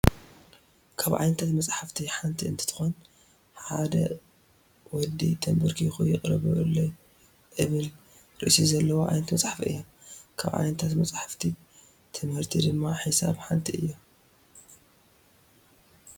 ካብ ዓይነታት መስፃፍቲ ኣንት እንትኮን ሓደ ቀዲ ተበርኪኩ ይቅረ በሉሉይ እብል ርእሲ ዘለዋ ዓይነት መፅሓፍ እያ ።ካብ ዓይነታት መፅሓፍቲ ትምህርቲ ድማ ሒሳብ ሓንቲ እያ።